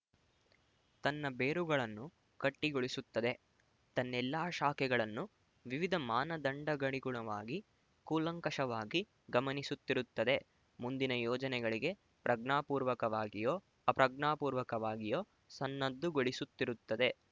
ತನ್ನ ಬೇರುಗಳನ್ನು ಗಟ್ಟಿಗೊಳಿಸುತ್ತದೆ ತನ್ನೆಲ್ಲಾ ಶಾಖೆಗಳನ್ನು ವಿವಿಧ ಮಾನದಂಡಗಳಿಗುಣವಾಗಿ ಕೂಲಂಕಶವಾಗಿ ಗಮನಿಸುತ್ತಿರುತ್ತದೆ ಮುಂದಿನ ಯೋಜನೆಗಳಿಗೆ ಪ್ರಜ್ಞಾಪೂರ್ವಕವಾಗಿಯೋ ಅಪ್ರಜ್ಞಾಪೂರ್ವಕವಾಗಿಯೋ ಸನ್ನದ್ದುಗೊಳಿಸುತ್ತಿರುತ್ತದೆ